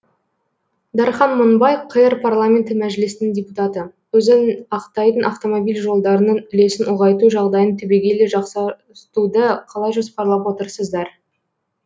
дархан мыңбай қр парламенті мәжілісінің депутаты өзін ақтайтын автомобиль жолдарының үлесін ұлғайту жағдайын түбегейлі жақсартуды қалай жоспарлап отырсыздар